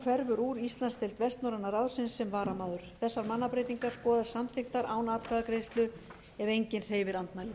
hverfur úr íslandsdeild vestnorræna ráðsins sem varamaður þessar mannabreytingar skoðast samþykktar án atkvæðagreiðslu ef enginn hreyfir andmælum